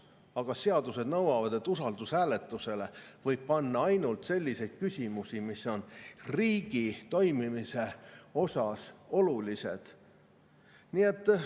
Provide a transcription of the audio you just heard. Aga seadused nõuavad, et usaldushääletusele võib panna ainult selliseid küsimusi, mis on riigi toimimise jaoks olulised.